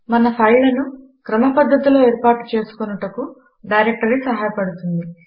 మన ఫైళ్ళను క్రమ పద్ధతిలో ఏర్పాటు చేసుకొనుటకు డైరెక్టరీ సహాయపడుతుంది